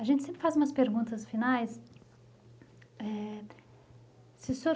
A gente sempre faz umas perguntas finais. É... Se o senhor